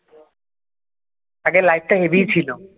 আগে লাইটটা heavy ছিল ।